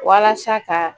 Walasa ka